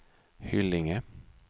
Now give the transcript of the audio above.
Hyllinge